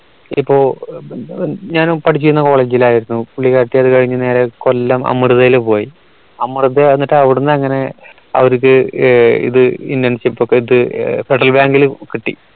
ഇപ്പോ ഞാനു പഠിച്ചിരുന്ന college ൽ ആയിരുന്നു പുള്ളിക്കാരത്തി അത് കഴിഞ്ഞ് നേരെ കൊല്ലം അമൃതേല് പോയി അമൃത എന്നിട്ട് അവിടുന്ന് അങ്ങനെ അവർക്ക് ഇത് internship ഇത് federal bank ൽ കിട്ടി